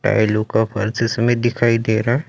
yellow का में दिखाई दे रहा--